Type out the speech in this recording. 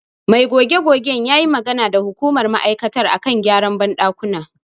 Mai goge-gogen ya yi magana da hukumar ma'aikatar a kan gyaran banɗakuna.